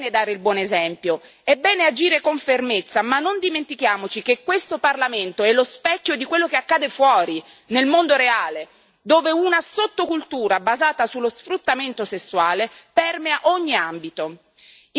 È bene dare il buon esempio, è bene agire con fermezza, ma non dimentichiamoci che questo Parlamento è lo specchio di quello che accade fuori, nel mondo reale, dove una sottocultura basata sullo sfruttamento sessuale permea ogni ambito.